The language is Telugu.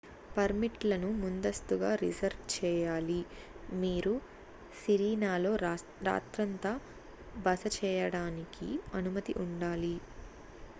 పర్మిట్ లను ముందస్తుగా రిజర్వ్ చేయాలి మీరు సిరీనాలో రాత్రంతా బస చేయడానికి అనుమతి ఉండాలి